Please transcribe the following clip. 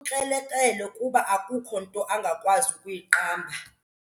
Ukrelekrele kuba akukho nto angakwazi kuyiqamba.